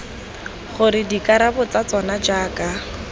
gore dikarabo tsa tsona jaaka